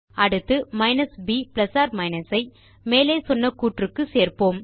அடுத்து மைனஸ் ப் plus or minus ஐ மேலே சொன்ன கூற்று க்கு சேர்ப்போம்